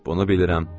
Bunu bilirəm.